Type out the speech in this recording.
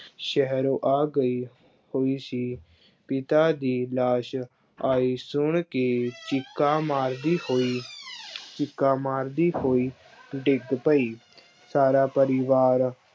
ਸ਼ਹਿਰੋਂ ਆ ਗਈ ਹੋਈ ਸੀ ਪਿਤਾ ਦੀ ਲਾਸ਼ ਆਈ ਸੁਣ ਕੇ ਚੀਕਾਂ ਮਾਰਦੀ ਹੋਈ ਚੀਕਾਂ ਮਾਰਦੀ ਹੋਈ ਡਿੱਗ ਪਈ, ਸਾਰਾ ਪਰਿਵਾਰ